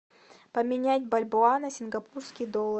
поменять бальбоа на сингапурский доллар